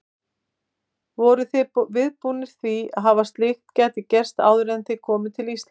Voruð þið viðbúnir því að slíkt gæti gerst áður en þið komuð til Íslands?